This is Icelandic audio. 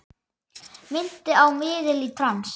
Minnti á miðil í trans.